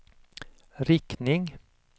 riktning